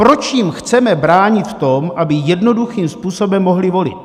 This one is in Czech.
Proč jim chceme bránit v tom, aby jednoduchým způsobem mohli volit?